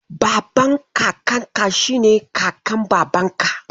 Baban Kakanka shi ne Kakan Babanka.